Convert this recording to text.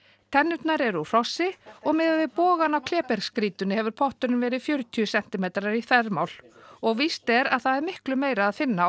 tennurnar eru úr hrossi og miðað við bogann á klébergsgrýtunni hefur potturinn verið fjörutíu sentimetrar í þvermál og víst er að það er miklu meira að finna á